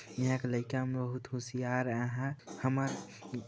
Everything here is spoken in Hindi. इहा के लइका मन बहुत होशियार आहय हमर--